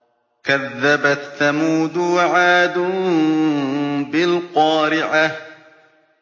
كَذَّبَتْ ثَمُودُ وَعَادٌ بِالْقَارِعَةِ